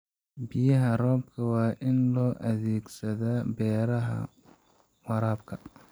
Biyaha roobka waa in loo adeegsadaa beeraha waraabka.